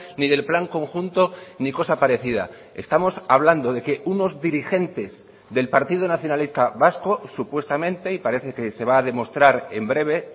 ni del plan conjunto ni cosa parecida estamos hablando de que unos dirigentes del partido nacionalista vasco supuestamente y parece que se va a demostrar en breve